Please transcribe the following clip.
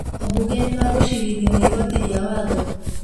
Ambunge nĩ magũcirithio nĩ igoti rĩa watho